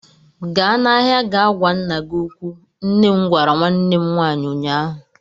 Gaa n'ahịa ga gwa nna gị okwu! Nne m gwara nwanne m nwaanyi ụnyaahụ.